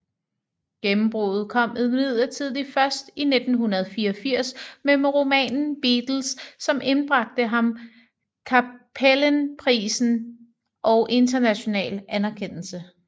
Gennembruddet kom imidlertid først i 1984 med romanen Beatles som indbragte ham Cappelenprisen og international anerkendelse